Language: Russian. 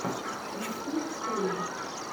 ютьюб пэйнт